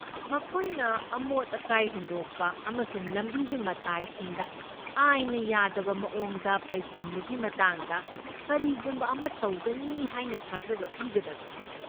ꯃꯈꯣꯏꯅ ꯑꯃꯣꯠ ꯑꯀꯥꯏ ꯍꯨꯟꯗꯣꯛꯄ ꯑꯃꯁꯨꯡ ꯂꯝꯕꯤꯒꯤ ꯃꯇꯥꯏꯁꯤꯡꯗ ꯑꯥꯏꯟꯅ ꯌꯥꯗꯕ ꯃꯑꯣꯡꯗ ꯄꯩꯁꯤꯟꯕꯒꯤ ꯃꯇꯥꯡꯗ ꯀꯔꯤꯒꯨꯝꯕ ꯑꯃ ꯇꯧꯒꯅꯤ ꯍꯥꯏꯅ ꯊꯥꯖꯕ ꯄꯤꯒꯗꯕꯅꯤ꯫